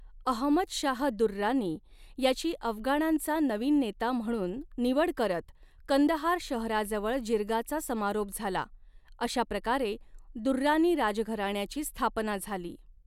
अहमद शाह दुर्रानी याची अफगाणांचा नवीन नेता म्हणून निवड करत कंदहार शहराजवळ जिरगाचा समारोप झाला, अशाप्रकारे दुर्रानी राजघराण्याची स्थापना झाली.